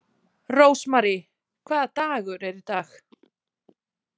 Rósmary, hvaða dagur er í dag?